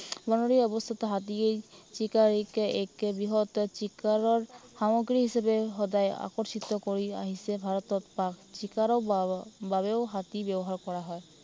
বনৰীয়া অৱস্থাতো হাতীয়ে চিকাৰীক এক বৃহৎ চিকাৰৰ সমগ্ৰী হিচাপে সদায় আকৰ্ষিত কৰি আহিছে। ভাৰতত বাস চিকাৰৰ বাবে বাবেও হাতী ব্য়ৱহাৰ কৰা হয়।